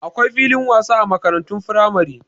Akwai filin wasa a makarantun firamare.